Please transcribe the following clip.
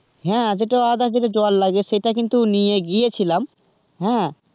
হ্যাঁ যেটা জল লাগে তো সেটা কিন্তু নিয়ে গিয়েছিলাম, হ্যা.